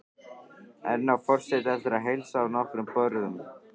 Enn á forseti eftir að heilsa á nokkrum borðum.